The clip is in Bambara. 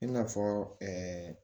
I n'a fɔ